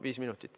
Viis minutit.